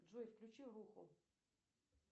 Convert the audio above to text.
джой включи руху